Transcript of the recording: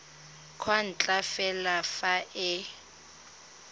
kwa ntle fela fa e